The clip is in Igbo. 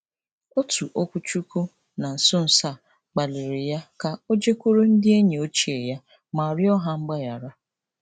Otu okwuchukwu na nso nso a kpalịrị ya ka o jekwuru ndị enyi ochie ya ma rịọ ha mgbaghara.